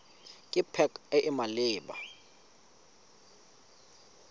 ke pac e e maleba